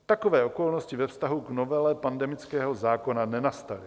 Takové okolnosti ve vztahu k novele pandemického zákona nenastaly.